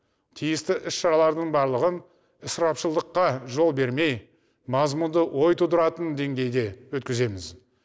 тиісті іс шаралардың барлығын ысырапшылдыққа жол бермей мазмұнды ой тудыратын деңгейде өткіземіз